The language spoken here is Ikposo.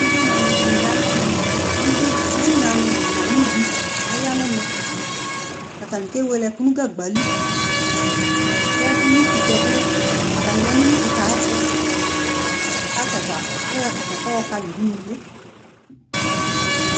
ʋvi na dini yanʋ ɛmɛ, ʋvi nadi nʋ ayʋvi ayanʋ ɛmɛ, atani kɛ wɛlè ɛkʋdi nʋ gagba li kʋ ʋwi kʋtɛ bi atani yanʋ ʋwi kʋtɛ ayɛtʋ kʋ ayɔ akyakya kʋ ayɔ kali ʋdʋnʋliɛ